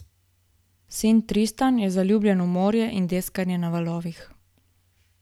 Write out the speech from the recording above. Sin Tristan je zaljubljen v morje in deskanje na valovih.